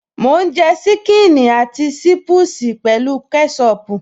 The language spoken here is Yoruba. Mò ń jẹ ṣíkìnnì àti ṣiipusi pẹ̀lú kẹ́ṣọpù